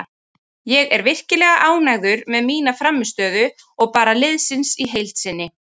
Ég er virkilega ánægður með mína frammistöðu og bara liðsins í heild sinni.